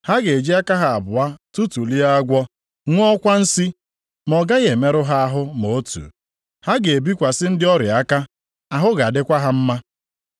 \+wj Ha ga-eji aka ha abụọ atụtụlie agwọ, ṅụọkwa nsi ma ọ gaghị emerụ ha ahụ ma otu. Ha ga-ebikwasị ndị ọrịa aka, ahụ ga-adịkwa ha mma.”\+wj*